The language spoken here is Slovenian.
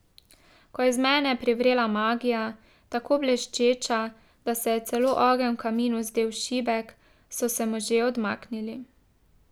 Ko je iz mene privrela magija, tako bleščeča, da se je celo ogenj v kaminu zdel šibek, so se možje odmaknili.